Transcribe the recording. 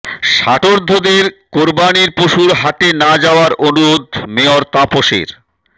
ষাটোর্ধ্বদের কোরবানির পশুর হাটে না যাওয়ার অনুরোধ মেয়র তাপসের